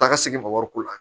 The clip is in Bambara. Taa ka segin ma wariko la